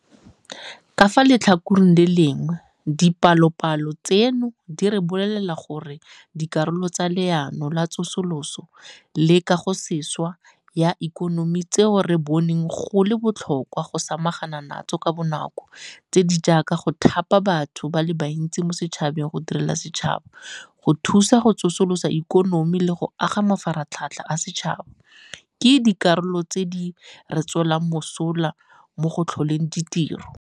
Ka fa letlhakoreng le lengwe, dipalopalo tseno di re bolelela gore dikarolo tsa Leano la Tsosoloso le Kagosešwa ya Ikonomi tseo re boneng go le botlhokwa go samagana natso ka bonako tse di jaaka go thapa batho ba le bantsi mo setšhabeng go direla setšhaba, go thusa go tsosolosa ikonomi le go aga mafaratlhatlha a setšhaba ke dikarolo tse di re tswelang mosola mo go tlholeng ditiro.